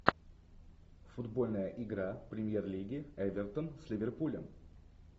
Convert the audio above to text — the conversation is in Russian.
футбольная игра премьер лиги эвертон с ливерпулем